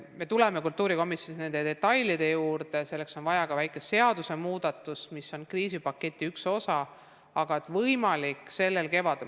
Me tuleme kultuurikomisjonis nende detailide juurde – selleks on vaja ka väikest seadusemuudatust, mis on kriisipaketi üks osa – võimalik, et sellel kevadel.